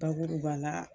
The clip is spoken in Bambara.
Bakuruba la